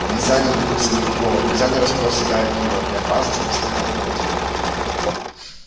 нельзя не наткнуться на другого нельзя не распороть себя об него не обмазаться в мясных лохмотьях